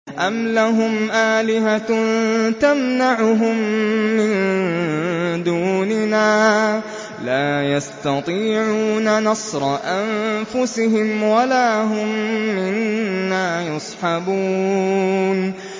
أَمْ لَهُمْ آلِهَةٌ تَمْنَعُهُم مِّن دُونِنَا ۚ لَا يَسْتَطِيعُونَ نَصْرَ أَنفُسِهِمْ وَلَا هُم مِّنَّا يُصْحَبُونَ